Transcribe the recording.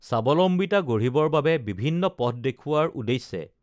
স্বাৱলম্বিতা গঢ়িবৰ বাবে বিভিন্ন পথ দেখুওৱাৰ উদ্দেশ্যে